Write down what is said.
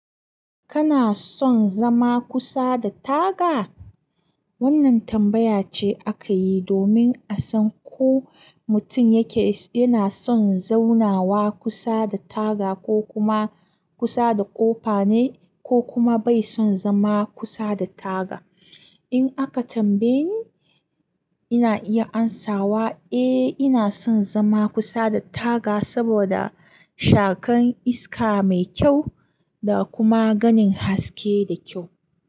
Kana son zama kusa da taga? Wannan tambaya ce aka yi domin a san ko mutum yake, yana son zaunawa kusa da taga ko kuma kusa da ƙofa ne ko kuma bai son zama kusa da taga. In aka tambaye ni, ina iya amsawa, eh ina son zama kusa da taga saboda shakan iska mai kyau da kuma ganin haske da kyau.